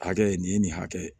Hakɛ nin ye nin hakɛ ye